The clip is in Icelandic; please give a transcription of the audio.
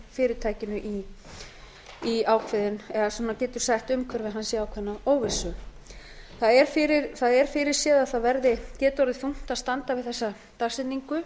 fyrirtækinu í ákveðinn eða getur sett umhverfi hans í ákveðna óvissu það er fyrirséð að það geti orðið þungt að standa við þessa dagsetningu